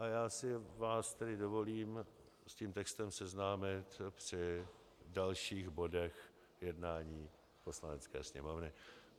A já si vás tedy dovolím s tím textem seznámit při dalších bodech jednání Poslanecké sněmovny.